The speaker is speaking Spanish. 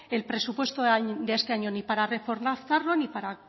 el presupuesto de este año ni para reforzarlo ni para